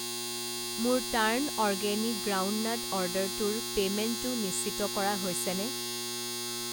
মোৰ turn organic groundnut অৰ্ডাৰটোৰ পে'মেণ্টটো নিশ্চিত কৰা হৈছেনে?